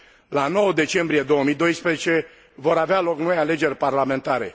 La 9 decembrie 2012, vor avea loc noi alegeri parlamentare.